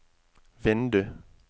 vindu